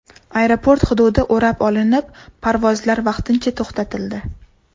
Aeroport hududi o‘rab olinib, parvozlar vaqtincha to‘xtatildi.